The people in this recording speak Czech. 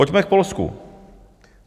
Pojďme k Polsku.